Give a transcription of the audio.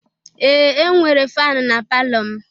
Ee! E nwere fanụ na palọ m.